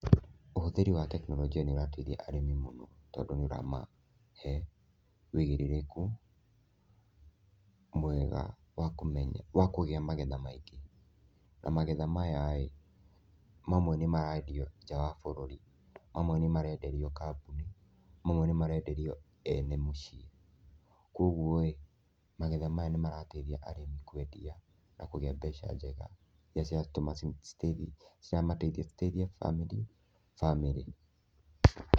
Ũhũthĩri wa tekinoronjia nĩ ũrateithia arĩmi mũno, tondũ nĩ ũramahe ũigĩrĩrĩku mwega wa kũmenya wa kũgĩa magetha maingĩ, na magetha mayaĩ, mamwe nĩ marendio nja wa bũrũri, mamwe nĩ marenderio kambuni, mamwe nĩ marenderio ene mũciĩ, koguo ĩ, magetha maya nĩ marateithia arĩmi kwendia na kũgĩa mbeca njega iria ciratũma ciramateithia citeithie bamĩrĩ.